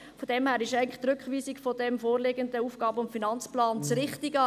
Daher ist eigentlich die Rückweisung dieses vorliegenden AFP das Richtige.